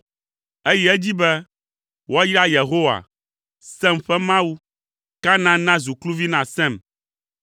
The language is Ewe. Eyi edzi be, “Woayra Yehowa, Sem ƒe Mawu. Kanaan nazu kluvi na Sem.